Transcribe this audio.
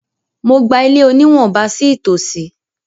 Mo gba ilé oníwọ̀ba sí ìtòsí.